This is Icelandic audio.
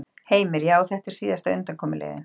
Heimir: Já, og þetta er síðasta undankomuleiðin?